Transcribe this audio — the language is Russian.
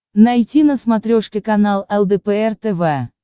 найти на смотрешке канал лдпр тв